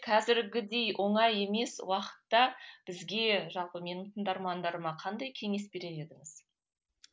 қазіргідей оңай емес уақытта бізге жалпы менің тыңдармандарыма қандай кеңес берер едіңіз